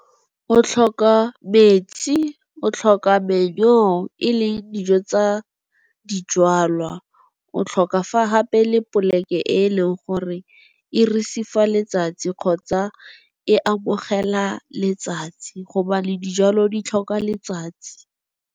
O tlhoka metsi, o tlhoka e le dijo tsa dijwalwa, o tlhoka fa gape le poleke e e leng gore e receive-a letsatsi kgotsa e amogela letsatsi gobane dijalo di tlhoka letsatsi.